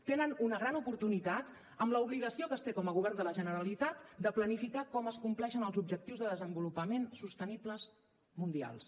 tenen una gran oportunitat amb l’obligació que es té com a govern de la generalitat de planificar com es compleixen els objectius de desenvolupament sostenibles mundials